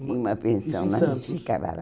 Em uma pensão, isso em Santos mas ficava lá.